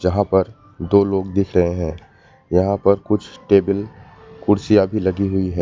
यहां पर दो लोग दिख रहें हैं यहां पर कुछ टेबल कुर्सियां भी लगी हुई है।